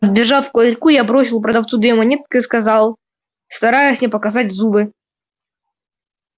побежав к ларьку я бросил продавцу две монетки и сказал стараясь не показать зубы